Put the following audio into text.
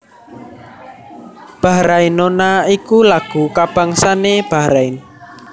Bahrainona iku lagu kabangsané Bahrain